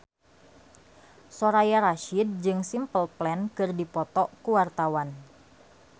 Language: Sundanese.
Soraya Rasyid jeung Simple Plan keur dipoto ku wartawan